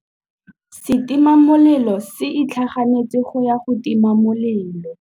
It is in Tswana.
Setima molelô se itlhaganêtse go ya go tima molelô.